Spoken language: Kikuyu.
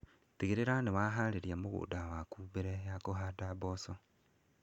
Tigĩrĩra nĩ waharĩria mũgũnda wako mbere ya kũhanda mboco.